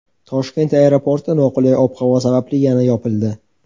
Toshkent aeroporti noqulay ob-havo sababli yana yopildi.